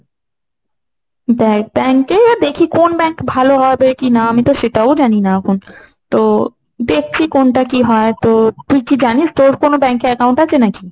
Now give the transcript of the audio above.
bank~ bank এ দেখি কোন bank ভালো হবে কিনা, আমি তো সেটাও জানি না এখন। তো দেখছি কোনটা কি হয়, তো তুই কি জানিস তোর কোন bank এ account আছে নাকি?